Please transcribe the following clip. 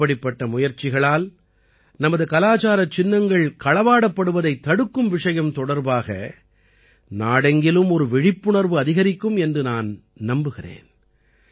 இப்படிப்பட்ட முயற்சிகளால் நமது கலாச்சாரச் சின்னங்கள் களவாடப்படுவதைத் தடுக்கும் விஷயம் தொடர்பாக நாடெங்கிலும் ஒரு விழிப்புணர்வு அதிகரிக்கும் என்று நான் நம்புகிறேன்